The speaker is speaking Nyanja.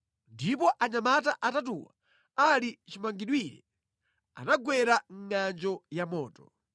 ndipo anyamata atatuwa, ali chimangidwire, anagwera mʼngʼanjo ya moto.